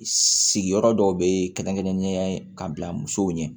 Sigiyɔrɔ dɔw bɛ ye kɛrɛnkɛrɛnnenya ye ka bila musow ɲɛ